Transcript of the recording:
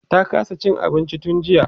ta kasa Cin abinci tun jiya